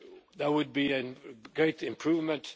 That would be a great improvement.